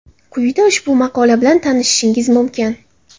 Quyida ushbu maqola bilan tanishishingiz mumkin.